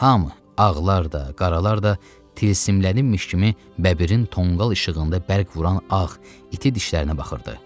Hamı, ağlar da, qaralar da tilsimlənmiş kimi bəbirin tonqal işığında bərq vuran ağ iti dişlərinə baxırdı.